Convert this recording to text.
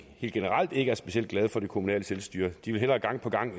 helt generelt ikke er specielt glade for det kommunale selvstyre de vil hellere gang på gang